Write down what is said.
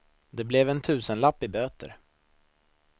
Det blev en tusenlapp i böter.